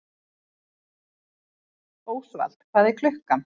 Ósvald, hvað er klukkan?